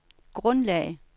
grundlag